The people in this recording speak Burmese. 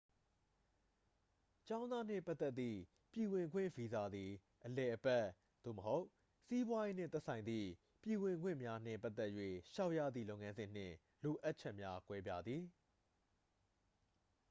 ကျောင်းသားနှင့်ပတ်သက်သည့် ပြည်ဝင်ခွင့်ဗီဇာသည် အလည်အပတ် သို့မဟုတ် စီးပွားရေး နှင့်သက်ဆိုင်သည့် ပြည်ဝင်ခွင့်များနှင့် ပတ်သက်၍ လျှောက်ရသည့် လုပ်ငန်းစဉ် နှင့် လိုအပ်ချက်များ ကွဲပြားသည်